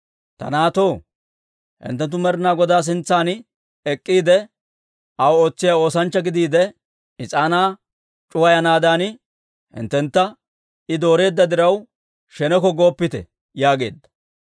Ta naatoo, hinttenttu Med'inaa Godaa sintsan ek'k'iide, aw ootsiyaa oosanchcha gidiide, is'aanaa c'uwayanaadan hinttentta I dooreedda diraw, sheneko gooppite» yaageedda.